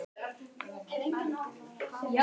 Skuggi, er opið í Kjötborg?